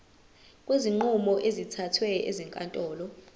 kwezinqumo ezithathwe ezinkantolo